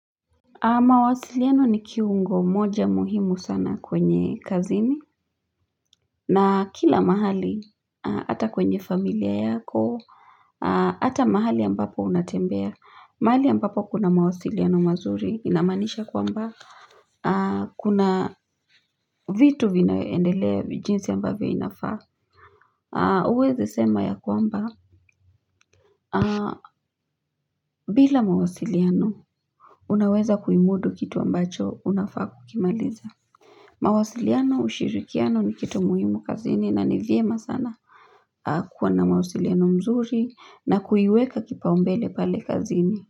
Mawasiliano ni kiungo moja muhimu sana kwenye kazini na kila mahali hata kwenye familia yako Hata mahali ambapo unatembea mahali ambapo kuna mawasiliano mazuri inamaanisha kwamba Kuna vitu vinaendelea jinsi ambavyo inafaa huwezi sema ya kwamba bila mawasiliano unaweza kuimudu kitu ambacho unafaa kukimaliza mawasiliano ushirikiano ni kitu muhimu kazini na ni vyema sana kuwa na mawasiliano mazuri na kuiweka kipaumbele pale kazini.